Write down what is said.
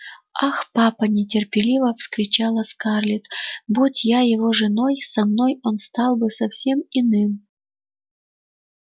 ах папа нетерпеливо вскричала скарлетт будь я его женой со мной он стал бы совсем иным